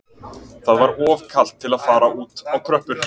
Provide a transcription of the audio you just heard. Það var of kalt til að fara út á tröppur